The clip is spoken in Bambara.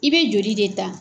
I bɛ joli de ta.